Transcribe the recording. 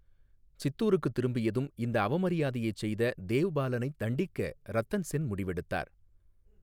சித்தூருக்குத் திரும்பியதும் இந்த அவமரியாதையைச் செய்த தேவ்பாலனைத் தண்டிக்க ரத்தன் சென் முடிவெடுத்தார்.